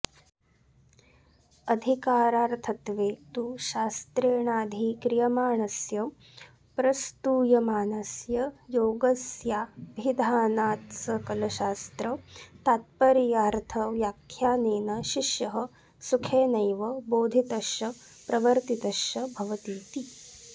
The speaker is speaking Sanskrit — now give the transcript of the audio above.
अधिकारार्थत्वे तु शास्त्रेणाधिक्रियमाणस्य प्रस्तूयमानस्य योगस्याभिधानात्सकलशास्त्रतात्पर्यार्थव्याख्यानेन शिष्यः सुखेनैव बोधितश्च प्रवर्तितश्च भवतीति